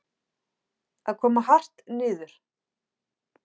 Að koma hart niður